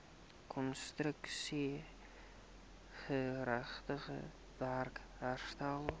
konstruksiegerigte werk herstel